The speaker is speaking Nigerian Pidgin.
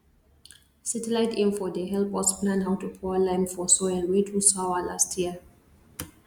satellite info dey help us plan how to pour lime for soil wey too sour last year